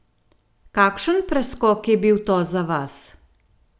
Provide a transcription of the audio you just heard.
Kakšen preskok je bil to za vas?